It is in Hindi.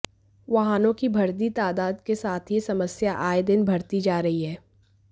वाहनों की बढ़ती तादाद के साथ ही यह समस्या आए दिन बढ़ती जा रही है